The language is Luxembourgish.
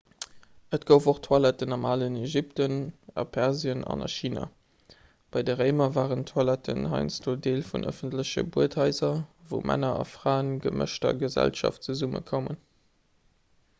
et gouf och toiletten am alen ägypten a persien an a china bei den réimer waren toiletten heiansdo deel vun ëffentleche buedhaiser wou männer a fraen a gemëschter gesellschaft zesummekoumen